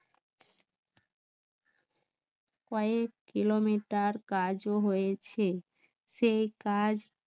কয়েক কিলোমিটার কাজও হয়েছে সেই কাজ